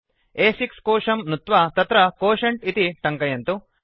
अ6 कोशं नुत्वा तत्र क्वोटिएंट इति टङ्कयन्तु